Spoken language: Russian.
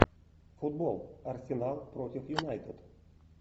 футбол арсенал против юнайтед